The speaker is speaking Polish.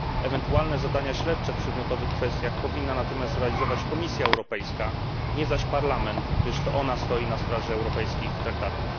Ewentualne zadania śledcze w przedmiotowych kwestiach powinna natomiast realizować Komisja Europejska, nie zaś Parlament, gdyż to ona stoi na straży europejskich traktatów.